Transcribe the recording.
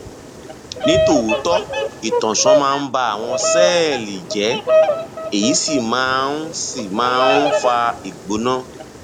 ní tòótọ ìtànṣán máa ń ba àwọn sẹẹlì jẹ èyí sì máa ń sì máa ń fa ìgbóná